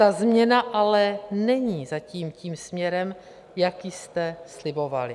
Ta změna ale není zatím tím směrem, jaký jste slibovali.